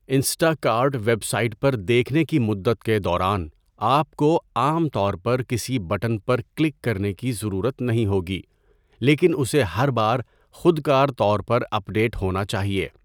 Insta cart website پر دیکھنے کی مدت کے دوران، آپ کو عام طور پر کسی بٹن پر کلک کرنے کی ضرورت نہیں ہوگی لیکن اسے ہر بار خودکار طور پر اپڈیٹ ہونا چاہیے۔